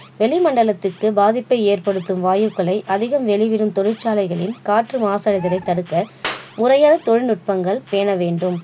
வளிமண்டலத்துக்கு பாதிப்பை ஏற்படுத்தும் வாயுக்களை அதிகம் வெளியிடும் தொழிற்சாலைகளில் காற்று மாசடைவதை தடுக்க முறையான தொழிற்நுட்பங்கள் பேணவேண்டும்